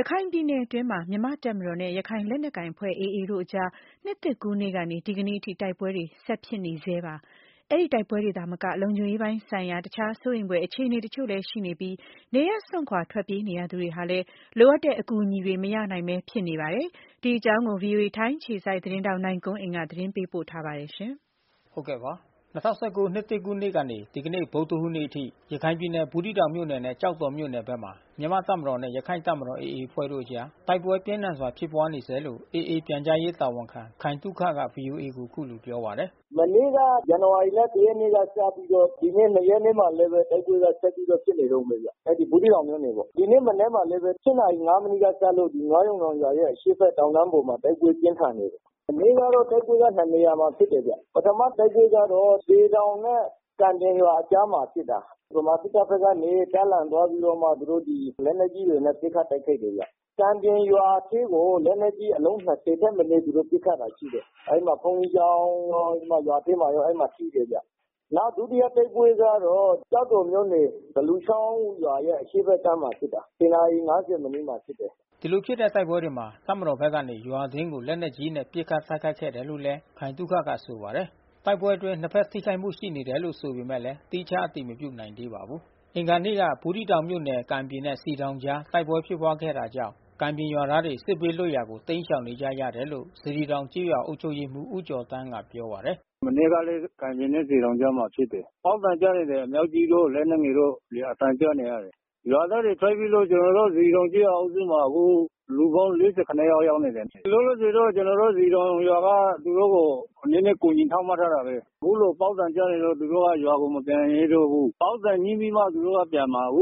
ရခိုင်ပြည်နယ်တွင်းမှာ မြန်မာ့တပ်မတော်နဲ့ ရခိုင်လက်နက်ကိုင်အဖွဲ့ AA တို့အကြား နှစ်သစ်ကူးနေ့ကနေ ဒီကနေ့အထိ တိုက်ပွဲ တွေ ဆက်ဖြစ်နေဆဲပါ။ အဲဒီတိုက်ပွဲတွေသာမက လုံခြုံရေးပိုင်းဆိုင်ရာ တခြားစိုးရိမ်ဖွယ် အခြေအနေတချို့လည်းရှိနေပြီး နေရပ် စွန့်ခွာ ထွက်ပြေးနေရသူတွေဟာလည်း လိုအပ်တဲ့အကူအညီတွေ မရနိုင်ဘဲဖြစ်နေကြပါတယ်။ ဒီအကြောင်း ဗွီအိုအေ ထိုင်း အခြေစိုက် သတင်းထောက် နိုင်ကွန်းအိန်က သတင်းပေးပို့ထားပါတယ်။ ၂၀၁၉ နှစ်သစ်ကူးနေ့ကနေ ဒီနေ့ဗုဒ္ဓဟူးနေ့အထိ ရခိုင်ပြည်နယ် ဘူးသီးတောင်မြို့နယ်နဲ့ကျောက်တော်မြို့နယ်ဘက်မှာ မြန်မာ့တပ်မတော်နဲ့ ရခိုင့် တပ်မတော်AAအဖွဲ့တို့ အကြား တိုက်ပွဲပြင်းထန်စွာဖြစ်ပွါးနေဆဲလို့AAပြန်ကြားရေးတာဝန်ခံ ခိုင်သုခ က ဗွီအိုအေ ကိုပြောပါတယ်။ “ဒီနှစ်သစ်မှာတော့ဗျာ မနေ့ကဇန်နဝါရီလ ရက်နေ့က စပြီးတော့ ဒီနေ့ ရက်နေ့ မှာလည်း တိုက်ပွဲကဆက်ပြီးတော့ဖြစ်နေ တုန်းဘဲဗျ။ ဘူးသီးတောင်မြို့နယ်ပေါ့။ ဒီနေ့မနက်မှာလဲဘဲ နာရီ မိနစ်ကစလို့ နွားရုံတောင်ရွာရဲ့အရှေ့ဖက် တောင်တန်း ပေါ်မှာတိုက်ပွဲပြင်းထန်နေတယ်။ မနေ့ကတော့တိုက်ပွဲက နေရာမှာဖြစ်တယ်ဗျ။ ပထမတိုက်ပွဲကတော့ စည်တောင်နဲ့ကံပြင်ရွာ အကြားမှာဖြစ်တာ။ ဗမာစစ်တပ်ကနေတပ်လန်သွားပြီးတော့မှ သူတို့ဒီလက်နက်ကြီးတွေ နဲ့ပစ်ခတ်တိုက်ခိုက်တယ်ဗျ။ ကံပြင်ရွာ အထဲကို လက်နက်ကြီးအလုံး ခက်မနဲသူတို့ပစ်ခတ်တာရှိတယ်။ အဲဒီမှာဘုန်းကြီးကျောင်းရော ရွာထဲမှာရောထိတယ်ဗျ။ နောက်ဒုတိယတိုက်ပွဲကတော့ ကျောက်တော်မြို့နယ် သလူချောင်းရွာရဲ့အရှေ့ဖက်ကမ်းမှာဖြစ်တာ။ နာရီ မိနစ်မှာ ဖြစ်တယ်။” ဒီလိုဖြစ်တဲ့တိုက်ပွဲတွေမှာ တပ်မတော်ဖက်ကနေ ရွာအတွင်းကိုလက်နက်ကြီးတွေနဲ့ပစ်ခတ်တိုက်ခိုက်ခဲ့တယ်လို့လဲ ခိုင်သုခ ကပြောပါတယ်။ တိုက်ပွဲအတွင်းနှစ်ဖက်ထိခိုက်မှုရှိတယ်လို့ ဆိုပေမဲ့လဲ သီးခြားအတည်မပြုနိုင်သေးပါဘူး။ အင်္ဂါနေ့က ဘူးသီးတောင်မြို့နယ်ကံပြင်နဲ့ စည်တောင်ကြား တိုက်ပွဲဖြစ်ပွါးခဲ့တာကြောင့် ကံပြင်ရွာသားတွေ စစ်ဘေးလွတ် ရာကိုတိမ်းရှောင်နေကြရတယ်လို့ စေတီတောင်ကျေးရွာအုပ်ချုပ်ရေးမှူး ဦးကျော်သန်းကပြောပါတယ်။ “မနေ့ကလဲ ကံပြင်နဲ့စည်တောင်ကြားမှာဖြစ်တယ်။ ပေါက်သံကြားနေရတယ် အမြှောက်ကြီးတို့ လက်နက်ငယ်တို့ အသံကြား နေရတယ်။ ရွာသားတွေထွက်ပြေးလို့ကျွန်တော်တို့စေတီတောင်ကျေးရွာအုပ်စုမှာ လူပေါင်း ယောက်ရောက်နေတယ်။ လောလောဆယ်တော့ကျွန်တော်တို့စေတီတောင်ရွာကသူတို့ကို နဲနဲကူာီထောက်ပံ့ထားပါတယ်။ ပေါက်သံကြားနေတော့ သူတို့က ရွာကိုမပြန်ရဲသေးဘူး။” လက်ရှိစေတီတောင်ကျေးရွာနဲ့ စ